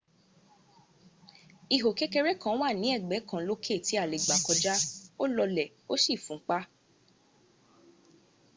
ihò kékeré kan wà ní ẹ̀gbẹ́ kan lókè tí a lè gbà kọjá ó lọlẹ̀ ó sì fúnpa